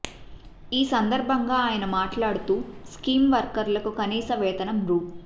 ఈ సందర్భంగా ఆయన మాట్లాడుతూ స్కీం వర్కర్లకు కనీస వేతనం రూ